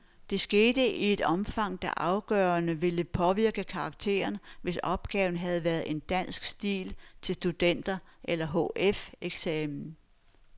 Det skete i et omfang, der afgørende ville påvirke karakteren, hvis opgaven havde været en dansk stil til studenter- eller hf-eksamen.